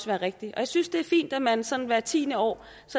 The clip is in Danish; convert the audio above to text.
være rigtig og jeg synes det er fint at man sådan hvert tiende år